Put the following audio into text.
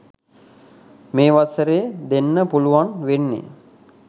මේ වසරේ දෙන්න පුළුවන් වෙන්නේ